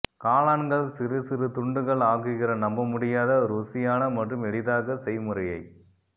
காளான்கள் சிறு சிறு துண்டுகள் ஆக்குகிற நம்பமுடியாத ருசியான மற்றும் எளிதாக செய்முறையை